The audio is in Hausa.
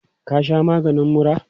Ka sha maganin muran?